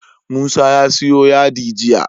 Musa ya siyo yadi jiya